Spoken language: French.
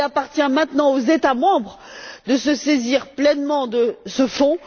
Il appartient maintenant aux États membres de se saisir pleinement de ce fonds.